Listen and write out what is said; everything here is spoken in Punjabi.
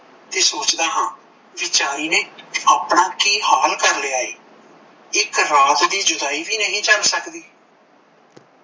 ਤੇ ਸੋਚਦਾ ਹਾਂ ਵੀਚਾਰੀ ਨੇ ਆਪਣਾ ਕੀ ਹਾਲ ਕਰ ਲਿਆ ਏ, ਇੱਕ ਰਾਤ ਦੀ ਜੁਦਾਈ ਵੀ ਨਹੀਂ ਝੱਲ ਸਕਦੀ।